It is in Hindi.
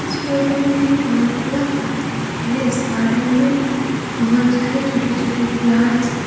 इस फोटो में बहुत बड़ा गार्डन है इस गार्डन में बहुत सारे छोटे छोटे प्लांट्स ।